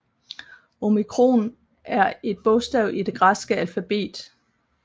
Omikron er et bogstav i det græske alfabet